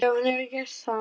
Já, hún hefur gert það.